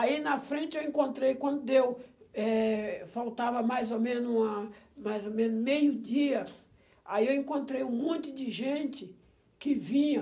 Aí, na frente, eu encontrei, quando deu, eh... faltava mais ou menos uma mais o menos meio-dia, aí eu encontrei um monte de gente que vinha